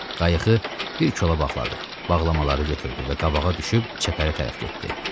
Qayığı bir kola baxladı, bağlamaları götürdü və qabağa düşüb çəpərə tərəf getdi.